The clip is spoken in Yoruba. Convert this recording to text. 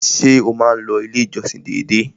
Ṣé o má n lọ ilé ìjọsìn dédé?